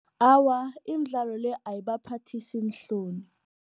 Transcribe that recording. Awa, imidlalo le ayibaphathisi iinhloni.